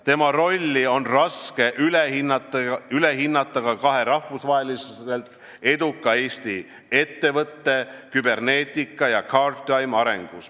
Tema rolli on raske üle hinnata ka kahe rahvusvaheliselt eduka Eesti ettevõtte, Cybernetica ja Guardtime'i arengus.